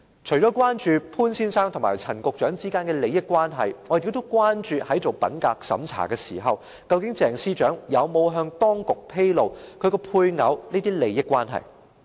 除了關注潘先生和陳局長之間的利益關係，我們也關注在做品格審查時，究竟鄭司長有否向當局披露她的配偶的這些利益關係。